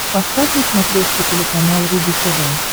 поставь на смотрешке телеканал рубль тв